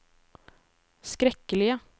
skrekkelige